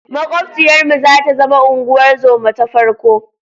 Maƙwabciyarmu za ta zama unguwar zoma ta farko.